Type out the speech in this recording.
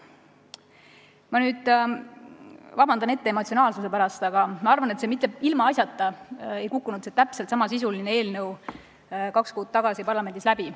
Ma palun ette vabandust emotsionaalsuse pärast, aga ma arvan, et mitte ilmaasjata ei kukkunud täpselt samasisuline eelnõu kaks kuud tagasi parlamendis läbi.